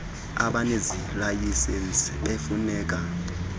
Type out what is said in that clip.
abanezi layisensi befuneka